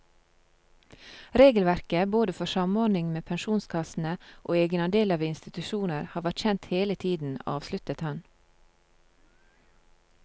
Regelverket både for samordning med pensjonskassene og egenandeler ved institusjoner har vært kjent hele tiden, avsluttet han.